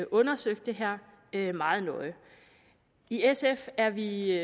undersøgt det her meget nøje i sf er vi